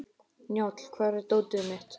Njáll, hvar er dótið mitt?